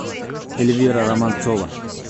эльвира романцова